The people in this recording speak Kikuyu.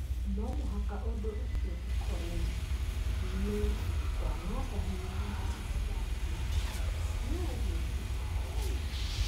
No mũhaka ũndũ ũcio ũkorũo nĩ kwananga hinya wa watho wa bũrũri. No ũguo tiguo kwarĩ.